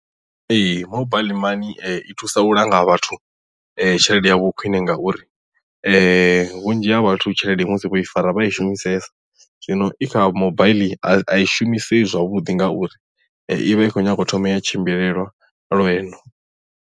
Ee mobaiḽi mani i thusa u langa vhathu tshelede yavho khwine ngauri vhunzhi ha vhathu tshelede musi vho i fara vha i shumisesa zwino i kha mobaiḽi a i shumisei zwavhuḓi ngauri i vha i khou nyanga u thoma ya tshimbilelwa lwendo.